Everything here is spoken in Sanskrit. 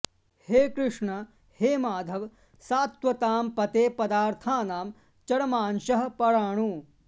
हे कृष्ण हे माधव सात्त्वतां पते पदार्थानां चरमांशः पराणु